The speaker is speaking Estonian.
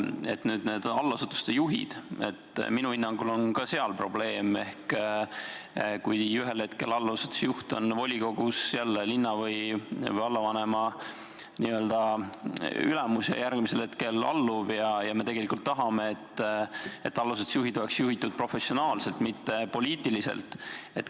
Teiseks, allasutuste juhtidega on ka minu hinnangul probleem, kui ühel hetkel allasutuse juht on volikogus linna- või vallavanema n-ö ülemus ja järgmisel hetkel alluv, kuid me tahame, et allasutused oleksid juhitud professionaalselt, mitte poliitiliselt.